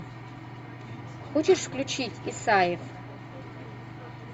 хочешь включить исаев